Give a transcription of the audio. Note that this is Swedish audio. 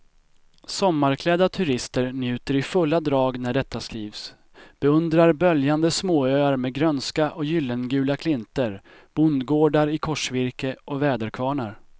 Sommarklädda turister njuter i fulla drag när detta skrivs, beundrar böljande småöar med grönska och gyllengula klinter, bondgårdar i korsvirke och väderkvarnar.